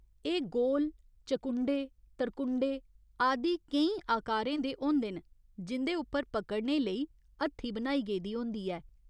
एह् गोल, चकुंडे, तरकुंडे आदि केईं आकारें दे होंदे न, जिं'दे उप्पर पकड़ने लेई हत्थी बनाई गेदी होंदी ऐ।